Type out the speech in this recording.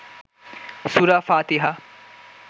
সুরা ফাতিহা